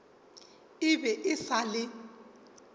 e be e sa le